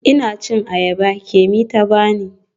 Ina cin ayaba Kemi ta bani.